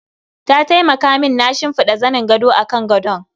Ta taimaka min na shimfida zanin gado akan gadon.